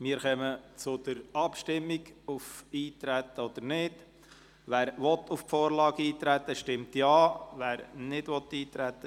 Wir kommen zur Abstimmung auf Eintreten oder Nichteintreten.